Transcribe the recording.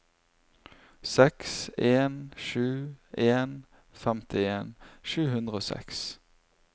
seks en sju en femtien sju hundre og seks